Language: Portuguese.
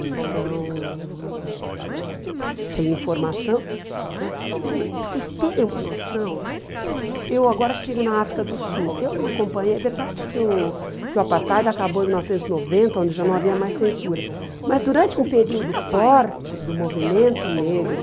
Então, sem informação, né para vocês para vocês terem uma noção, eu agora estive na África do Sul, eu não acompanhei, é verdade que o que o Apartheid acabou em mil novecentos e noventa, onde já não havia mais censura, mas durante um período forte do movimento negro,